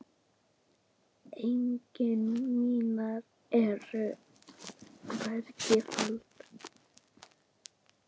Eignir mínar eru hvergi faldar.